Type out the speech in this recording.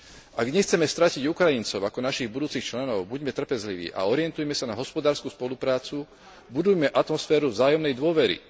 Ak nechceme stratiť Ukrajincov ako našich budúcich členov, buďme trpezliví a orientujme sa na hospodársku spoluprácu, budujme atmosféru vzájomnej dôvery.